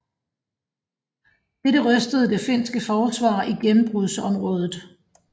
Dette rystede det finske forsvar i gennembrudsområdet